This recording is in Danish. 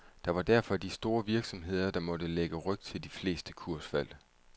Det var derfor de store virksomheder, der måtte lægge ryg til de fleste kursfald.